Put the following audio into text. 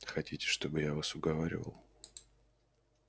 хотите чтобы я вас уговаривал